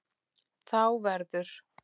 Þá verður